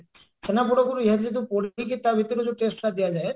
ଛେନାପୋଡକୁ ନିଆଁ ଭିତରେ ପୋଡିକି ତା ଭିତରେ ଯଉ taste ଟା ଦିଆଯାଏ